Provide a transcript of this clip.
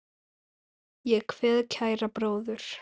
Ég kveð kæran bróður.